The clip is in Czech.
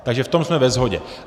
Takže v tom jsme ve shodě.